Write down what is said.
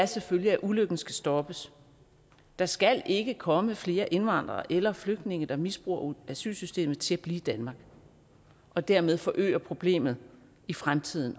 selvfølgelig at ulykken skal stoppes der skal ikke komme flere indvandrere eller flygtninge der misbruger asylsystemet til at blive i danmark og dermed også forøger problemet i fremtiden